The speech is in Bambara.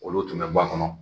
Olu tun bɛ b'a kɔnɔ